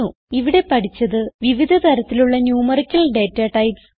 ഇവിടെ പഠിച്ചത് വിവിധ തരത്തിലുള്ള ന്യൂമറിക്കൽ ഡേറ്റാടൈപ്സ്